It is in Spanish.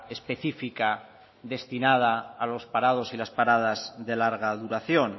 específica destinado a los parados y las paradas de larga duración